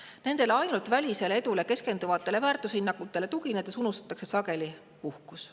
Kui tugineda ainult nendele välisele edule keskenduvatele väärtushinnangutele, unustatakse sageli ära puhkus.